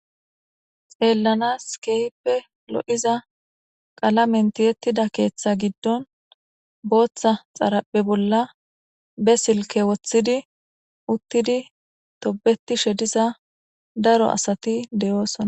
Xeellanas keehpe lo7iza qala mentiyettida keeththa giddon booththa xaraphe bolla be silke woththidi uttidi tobeti shediza daro asati deyoosona.